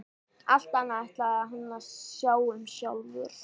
Allt annað ætlaði hann að sjá um sjálfur.